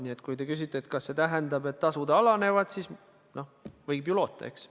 Nii et kui te küsite, kas see tähendab, et tasud alanevad, siis võib ju loota, eks.